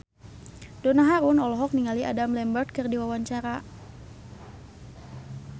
Donna Harun olohok ningali Adam Lambert keur diwawancara